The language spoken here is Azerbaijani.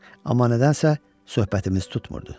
Amma nədənsə söhbətimiz tutmurdu.